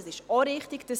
Diese gehen wir an.